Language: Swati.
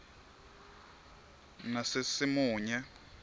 nasesimunye